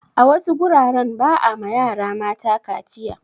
A wasu guraren ba a ma yara mata kaciya.